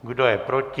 Kdo je proti?